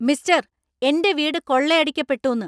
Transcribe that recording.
Mister‍, എന്‍റെ വീട് കൊള്ളയടിക്കപ്പെട്ടുന്ന്.